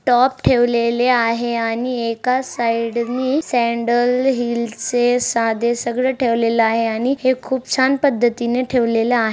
Top ठेवलेले आहे. आणि एकाच साइड नि सॅंडल हील्स चे साधे सगळे ठेवलेल आहे आणि हे खूप छान पद्धती ने ठेवलेले आहे.